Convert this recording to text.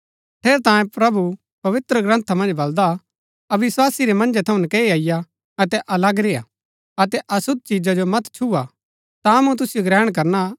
ठेरैतांये प्रभु पवित्रग्रन्था मन्ज बलदा अविस्वासी रै मन्जै थऊँ नकैई अईआ अतै अलग रेय्आ अतै अशुद्ध चिजा जो मत छुआ ता मूँ तुसिओ ग्रहण करणा